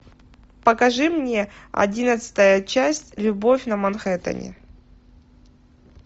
покажи мне одиннадцатая часть любовь на манхэттене